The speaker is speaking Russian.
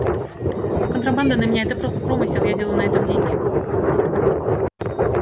контрабанда для меня это просто промысел я делаю на этом деньги